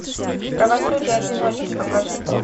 правосудие одиночки покажи